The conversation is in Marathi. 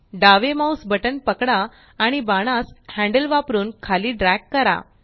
डावे माउस बटण पकडा आणि बाणास हैन्ड्ल वापरून खाली ड्रॅग करा